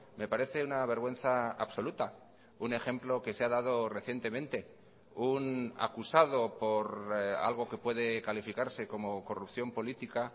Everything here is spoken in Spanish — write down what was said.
me parece una vergüenza absoluta un ejemplo que se ha dado recientemente un acusado por algo que puede calificarse como corrupción política